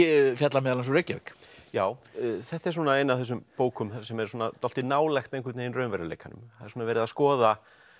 fjallar meðal annars um Reykjavík já þetta er ein af þessum bókum sem er dálítið nálægt raunveruleikanum það er verið að skoða